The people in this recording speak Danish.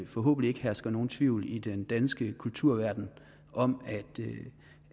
forhåbentlig ikke hersker nogen tvivl i den danske kulturverden om